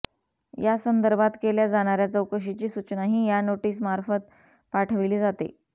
या संदर्भात केल्या जाणाऱ्या चौकशीची सूचनाही या नोटीसमार्फत पाठविली जाते